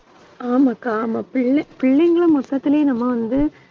ஆமாக்கா ஆமா பிள்ளை~ பிள்ளைங்களும் மொத்தத்திலேயே நம்ம வந்து